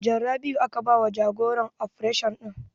Sajan Rabiu aka ba wa jagoran ofration ɗin